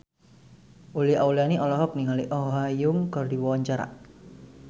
Uli Auliani olohok ningali Oh Ha Young keur diwawancara